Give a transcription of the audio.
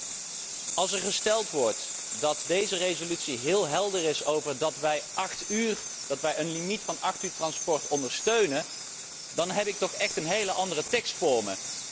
Echter, als er gesteld wordt dat deze resolutie heel helder is over het feit dat wij een limiet van acht uur transport ondersteunen, dan heb ik toch echt een heel andere tekst voor me.